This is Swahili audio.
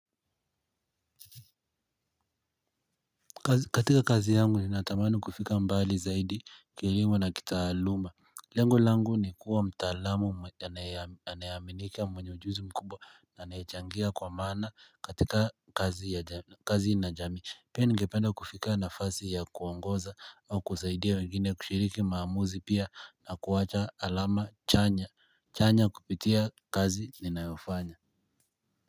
Katika kazi yangu ninatamani kufika mbali zaidi kilimu na kitaaluma. Lengu langu ni kuwa mtaalamu anayaminika mwenye ujuzi mkubwa na anayechangia kwa maana katika kazi na jamii. Pia ningependa kufika nafasi ya kuongoza au kusaidia wengine kushiriki maamuzi pia na kuwacha alama chanya chanya kupitia kazi ninayofanya.